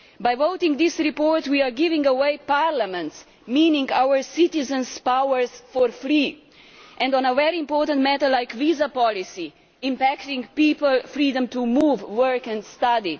By voting this report we are giving away Parliament's meaning our citizens' powers for free and on a very important matter like visa policy, impacting people's freedom to move, work and study.